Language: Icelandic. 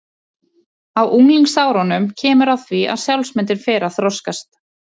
Á unglingsárunum kemur að því að sjálfsmyndin fer að þroskast.